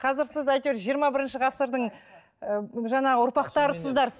қазір сіз әйтеуір жиырма бірінші ғасырдың ы жаңағы ұрпақтарысыздар